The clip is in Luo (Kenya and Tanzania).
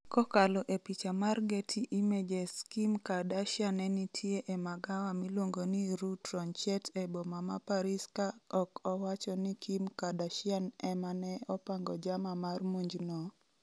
kokalo e picha mar getty images Kim Kardashia nenitie e magawa miluongo ni Rue Tronchet e boma ma Paris Ka ok owacho ni Kim Kardashian ema ne opango jama mar monj no,